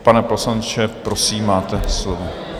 Pane poslanče, prosím, máte slovo.